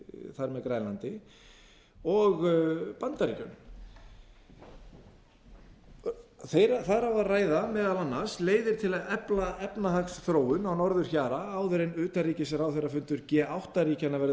með grænlandi og bandaríkjunum þar á að ræða meðal annars leiðir til að efla efnahagsþróun á norðurhjara áður en utanríkisráðherrafundur g átta ríkjanna verður